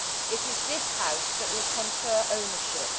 It is this House that will confer ownership.